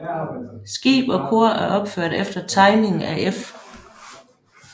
Skib og kor er opført efter tegning af F